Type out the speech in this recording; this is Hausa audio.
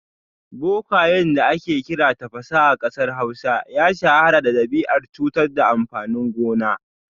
Bokayen da ake kira Tafasa a kasar Hausa ya shahara da dabi’ar cutar da amfanin gona